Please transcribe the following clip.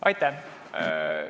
Aitäh!